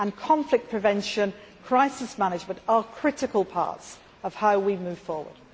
Conflict prevention and crisis management are critical parts of how we move forward.